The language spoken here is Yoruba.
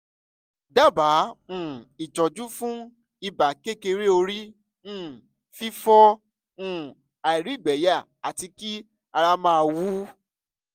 dábàá um ìtọ́jú fún ibà kékeré orí um fífọ́ um àìrígbẹyà àti kí ara máa wú